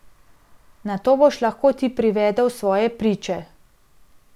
Nato boš lahko ti privedel svoje priče.